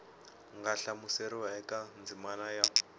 nga hlamuseriwa eka ndzimana ya